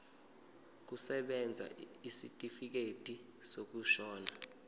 kusebenza isitifikedi sokushona